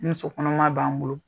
Ni muso kɔnɔma b'an bolo